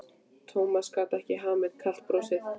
Thomas gat ekki hamið kalt brosið.